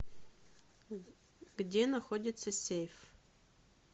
где находится сейф